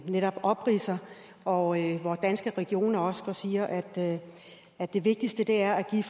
netop opridser og hvor danske regioner også siger at det vigtigste er det